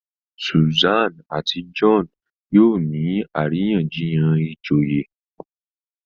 Susan àti John yóò ní àríyànjiyàn ìjòyè